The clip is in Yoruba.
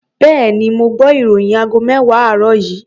Bẹ́ẹ̀ni, mo gbọ́ ìròyìn aago mẹ́wàá àárọ̀ yìí.